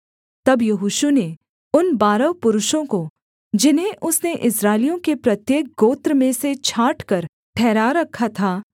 तब यहोशू ने उन बारह पुरुषों को जिन्हें उसने इस्राएलियों के प्रत्येक गोत्र में से छांटकर ठहरा रखा था